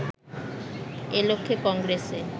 এ লক্ষ্যে কংগ্রেসে